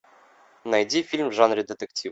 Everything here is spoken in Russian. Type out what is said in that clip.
найди фильм в жанре детектив